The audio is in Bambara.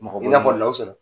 Mɔgɔ bɛ , i n'a fɔ Lawusina.